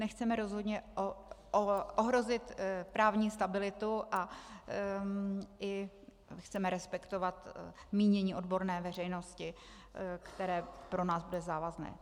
Nechceme rozhodně ohrozit právní stabilitu a i chceme respektovat mínění odborné veřejnosti, které pro nás bude závazné.